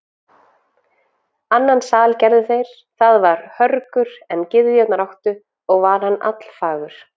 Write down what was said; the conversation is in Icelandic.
Annan sal gerðu þeir, það var hörgur en gyðjurnar áttu, og var hann allfagur.